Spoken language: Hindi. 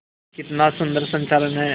कितना सुंदर संचालन है